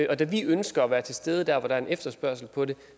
og da vi ønsker at være til stede der hvor der er en efterspørgsel på det